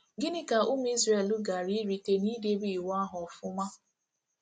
Gịnị ka ụmụ Izrel gaara erite nidebe Iwu ahụ ọfụma?